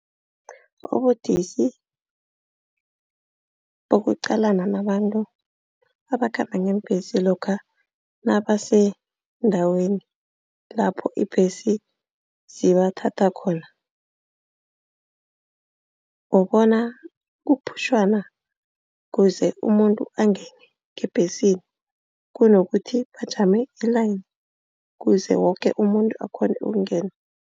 Ubudisi bokuqalana nabantu abakhamba ngeembhesi lokha nabasendaweni lapha iimbhesi zibathatha khona. Ubona kuphutjhwana kuze umuntu angene ngebhesini kunokuthi bajame i-line, kuze woke umuntu akghone ukungena.